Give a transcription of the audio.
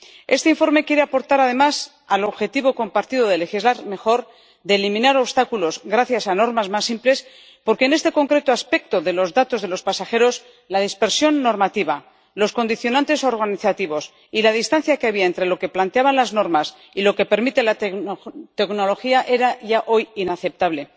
Este informe quiere contribuir además al objetivo compartido de legislar mejor, de eliminar obstáculos gracias a normas más simples, porque, en este concreto aspecto de los datos de los pasajeros, la dispersión normativa, los condicionantes organizativos y la distancia que había entre lo que planteaban las normas y lo que permite la tecnología era ya hoy inaceptable